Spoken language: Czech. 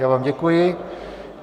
Já vám děkuji.